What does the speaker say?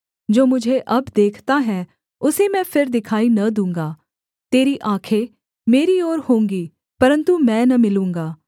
जो मुझे अब देखता है उसे मैं फिर दिखाई न दूँगा तेरी आँखें मेरी ओर होंगी परन्तु मैं न मिलूँगा